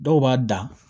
Dɔw b'a dan